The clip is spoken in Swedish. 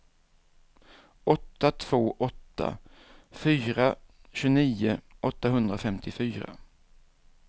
åtta två åtta fyra tjugonio åttahundrafemtiofyra